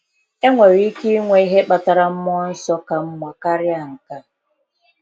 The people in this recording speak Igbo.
Enwere ike inwe ihe kpatara mmụọ nsọ ka mma karịa nke a?